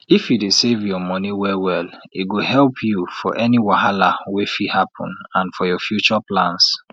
if you dey save your money well well e go help you for any wahala wey fit happen and for your future plans